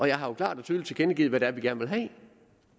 jeg har jo klart og tydeligt tilkendegivet hvad det er vi gerne vil have